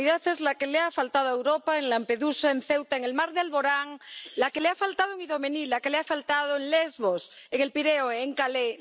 Humanidad es la que le ha faltado a Europa en Lampedusa, en Ceuta, en el mar de Alborán, la que le ha faltado en Idomení, la que le ha faltado en Lesbos, en El Pireo, en Calais.